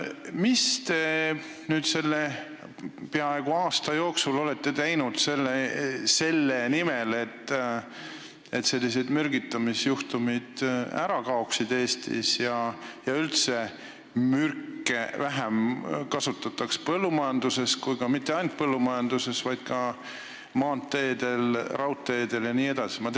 Mida te olete nüüd selle peaaegu aasta jooksul teinud selle nimel, et Eestis sellised mürgitamisjuhtumid ära lõppeksid ja et üldse kasutataks põllumajanduses vähem mürke, aga mitte ainult põllumajanduses, vaid ka maanteedel, raudteedel jne?